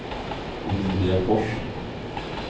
Olivia Fors